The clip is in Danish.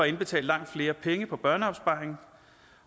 indbetale langt flere penge på børneopsparingen